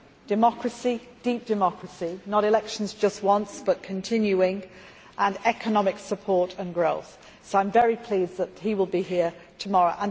democracy deep democracy, not elections just once, but continuing and economic support and growth. I am very pleased that he will be here tomorrow.